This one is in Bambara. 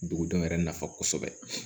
Dugudenw yɛrɛ nafa kosɛbɛ